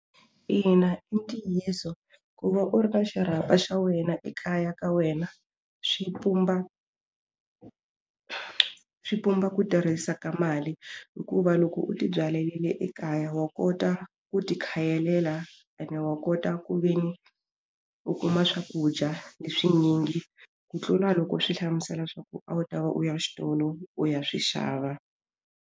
Ina i ntiyiso ku va u ri na xirhapa xa wena ekaya ka wena swi pumba swi pumba ku tirhisa ka mali hikuva loko u ti byalerile ekaya wa kota ku ti khayelela ene wa kota ku ve ni u kuma swakudya leswi nyingi ku tlula loko swi hlamusela swa ku a wu ta va u ya xitolo u ya swi xava.